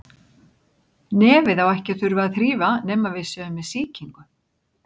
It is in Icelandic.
Nefið á ekki að þurfa að þrífa nema við séum með sýkingu.